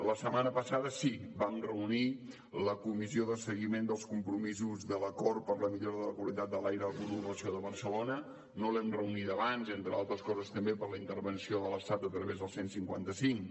la setmana passada sí vam reunir la comissió d’avaluació i seguiment de l’acord per a la millora de la qualitat de l’aire a la conurbació de barcelona no l’hem reunida abans entre altres coses també per la intervenció de l’estat a través del cent i cinquanta cinc